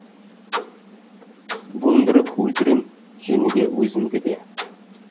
буындырып өлтірем сені де өзімді де